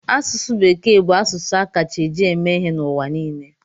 Asụsụ Bekee bụ asụsụ a kacha eji eme ihe n'ụwa niile.